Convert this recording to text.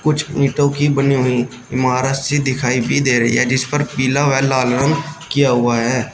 कुछ ईंटों की बनी हुई इमारत सी दिखाई भी दे रही है जिस पर पीला व लाल रंग किया हुआ है।